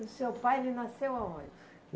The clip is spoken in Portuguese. o seu pai, ele nasceu aonde?